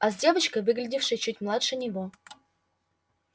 а с девочкой выглядевшей чуть младше него